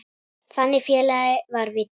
Þannig félagi var Viddi.